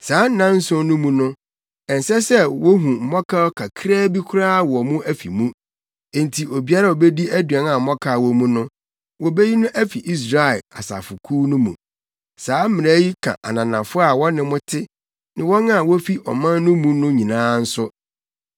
Saa nnanson no mu no, ɛnsɛ sɛ wohu mmɔkaw kakraa bi koraa wɔ mo afi mu. Enti obiara a obedi aduan a mmɔkaw wɔ mu no, wobeyi no afi Israel asafo kuw no mu. Saa mmara yi ka ananafo a wɔne mo te ne wɔn a wofi ɔman no mu no nyinaa nso.